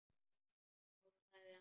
Þá sagði hann.